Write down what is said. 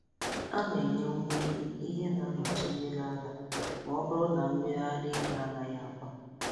A na-enye nwa ehi ihe na-anọchi mmiri ara ma ọ bụrụ na mmiri ara ehi anaghị agba